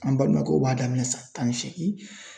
An balimakɛw b'a daminɛ san tan ni seegin.